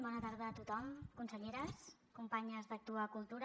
bona tarda a tothom conselleres companyes d’actua cultura